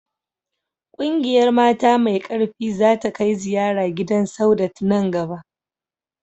Ƙungiyar mata mai ƙarfi za ta kai ziyara gidan Saudat nan gaba